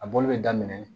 A bɔli bɛ daminɛ